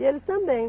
E ele também.